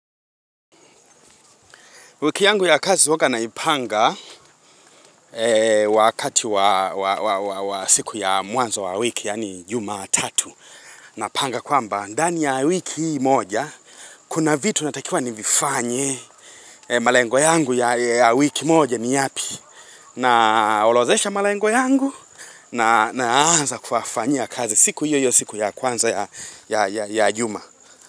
Wiki yangu ya kazi huanga naipanga wakati wa siku ya mwanzo wa wiki, yaani juma tatu. Napanga kwamba ndani ya wiki hii moja, kuna vitu natakiwa nivifanye malengo yangu ya wiki moja ni yapi. Naorodhesha malengo yangu na anza kuyafanyia kazi siku hiyo siku ya kwanza ya juma.